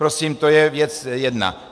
Prosím, to je věc jedna.